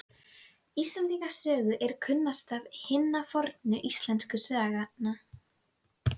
Stórkostlegir grjótflutningar eiga sér stað ofan úr